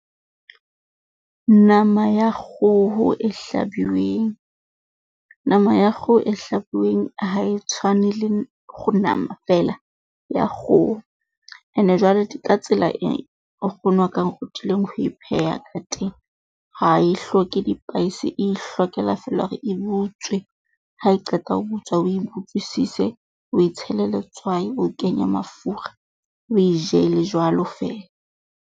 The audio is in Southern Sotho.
Nama ya kgoho e hlabiweng, nama ya kgoho e hlabuweng ha e tshwane le nama feela ya kgoho. Ene jwale di ka tsela e nkgono wa ka a nrutileng ho e pheha ka teng. Ha e hloke dipaese, e ihlokela feela e butswe. Ha e qeta ho butswa o e butswisise, o e tshele letswai o kenye mafura o e je e le jwalo feela.